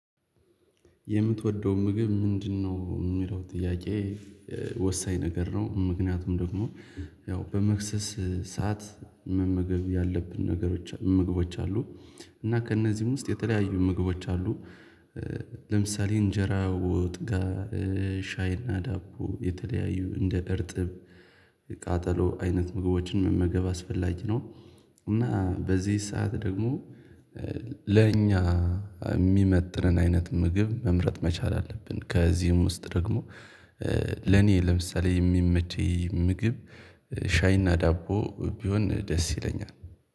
የምትወደው ምግብ ምንድነው? የሚለው ጥያቄ ወሳኝ ነገር ነው። ምክንያቱም ደግሞ ያው በመክሰስ ሰዓት መመገብ ያለብን ነገሮች ምግቦች አሉ። እና ከእነዚህም ውስጥ የተለያዩ ምግቦች አሉ። ለምሳሌ እንጀራ ወጥጋ፣ ሻይና ዳቦ፣ የተለያዩ እንደ እርጥብ፣ ቃጠሎ አይነት ምግቦችን መመገብ አስፈላጊ ነው። እና በዚህ ሰዓት ደግሞ ለእኛ የሚመጥነን አይነት ምግብ መምረጥ መቻል አለብን። ከዚህም ውስጥ ደግሞ ለኔ ለምሳሌ የሚመቸኝ ምግብ ሻይና ዳቦ ቢሆን ደስ ይለኛል።